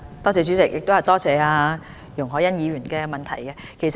主席，多謝容海恩議員的質詢。